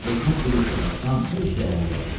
Özümə bir iş də tapsam, hər şey əla olardı.